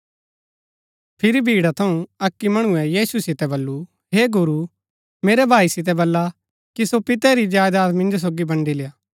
फिरी भीड़ा थऊँ अक्की मणुऐ यीशु सितै वल्‍लु हे गुरू मेरै भाई सितै वल्ला कि सो पिते री जायदात मिन्जो सोगी बन्ड़ी लेआ